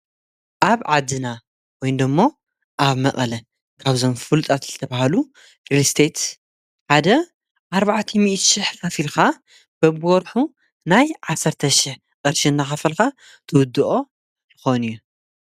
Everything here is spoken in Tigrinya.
ኣብ ዓድና ወይደሞ ኣብ መቐለ ካብዞም ፍሉጣት ልተብሃሉ ሪልስቴት ሓደ ኣርበዕተሚእቲሽሕ ካፊልካ በብወርሑ ናይ ዓሠርተሽሕ ቕርሺ እናኻፈልካ ትውድኦ ልኾን እዩ።